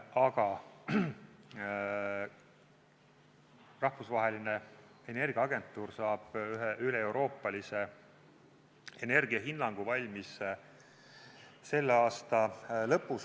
Aga Rahvusvaheline Energiaagentuur saab üleeuroopalise energiahinnangu valmis selle aasta lõpus.